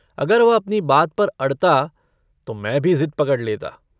अगर वह अपनी बात पर अड़ता तो मैं भी ज़िद पकड़ लेता।